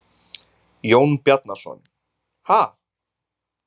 Jón Bjarnason: Ha?